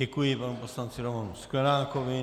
Děkuji panu poslanci Romanu Sklenákovi.